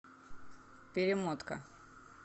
перемотка